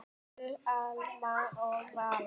Haukur, Alma og Valur.